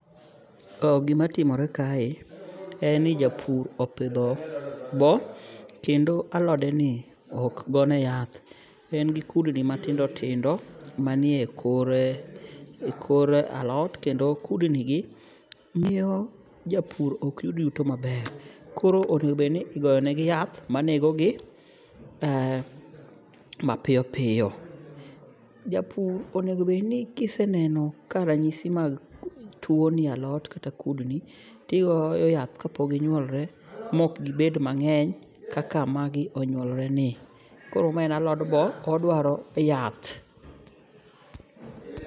Gimatimore kae, en ni japur opidho boo kendo alodeni ok gone yath. En gi kudni matindo tindo manie kor alot, kendo kudnigi miyo japur ok yud yuto maber. Koro onego obedni igoyo negi yath manegogi mapiyo piyo. Japur onego obed ni kiseneno ka ranyisi mag tuwo ni e alot kata kudni, tigoyo yath kapok ginyuolore mok gibed mang'eny kaka magi onyuolreni. Koro ma en alod bo, odwaro yath.